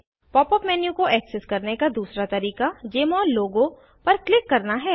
pop up menu को access करने का दूसरा तरीका जमोल लोगो पर क्लिक करना है